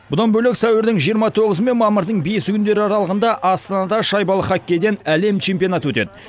бұдан бөлек сәуірдің жиырма тоғызы мен мамырдың бесі күндері аралығында астанада шайбалы хоккейден әлем чемпионаты өтеді